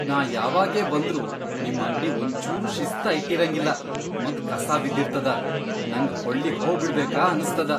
ನಾ ಯಾವಾಗೇ ಬಂದ್ರೂ ನಿಮ್ ಅಂಗ್ಡಿ ಒಂಚೂರೂ ಶಿಸ್ತ ಇಟ್ಟಿರಂಗಿಲ್ಲಾ ಮತ್ ಕಸಾ ಬಿದ್ದಿರ್ತದ, ನಂಗ್ ಹೊಳ್ಳಿಹೋಬಿಡ್ಬೇಕ ಅನ್ಸ್ತದ.